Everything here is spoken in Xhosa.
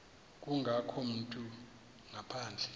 kangako umntu ngaphandle